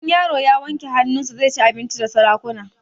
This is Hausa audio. In yaro ya wanke hanun sa zai ci abinci da sarakuna